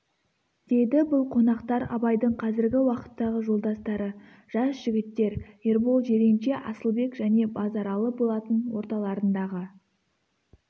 деді бұл қонақтар абайдың қазіргі уақыттағы жолдастары жас жігіттер ербол жиренше асылбек және базаралы болатын орталарындағы